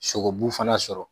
Sogobu fana sɔrɔ